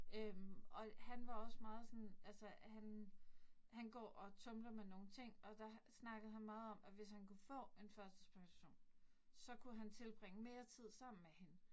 Øh og han var også meget sådan altså han han går og tumler med nogle ting, og der snakkede han meget om, at hvis kunne få en førtidspension, så kunne han tilbringe mere tid sammen med hende